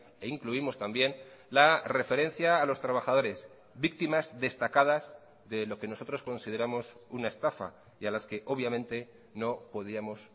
e incluimos también la referencia a los trabajadores víctimas destacadas de lo que nosotros consideramos una estafa y a las que obviamente no podíamos